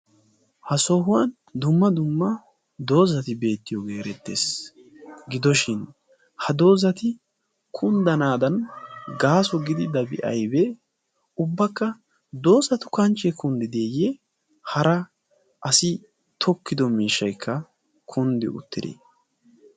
ha sohuwan dumma dumma doozati beetiyooge erettees. gidoshin ha doozati kunddanadan gaaso gididaabi aybbe ? ubbakka doozatu kanchche kunddideeye hara asi tokkido miishshaykka kunddi uttide?